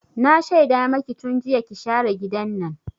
Na shaida maki tun jiya ki share gidan nan!